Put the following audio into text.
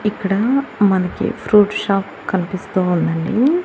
ఇక్కడా మనకి fruit shop కనిపిస్తూ ఉందండి.